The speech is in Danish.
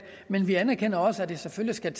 men vi anerkender også at det selvfølgelig skal